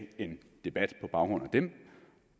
en debat på baggrund af dem